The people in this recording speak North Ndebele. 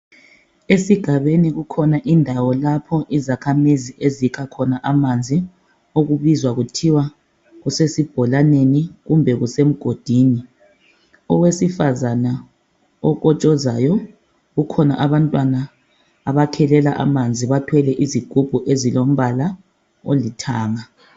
Esigabeni kukhona indawo lapho izakhamizi ezikha khona amanzi okubizwa kuthiwa kusesibholaneni kumbe kusemgodini. Owesifazana okotshozayo, kukhona abantwana abakhelelela amanzi bathwele izigubhu ezilombala olithanga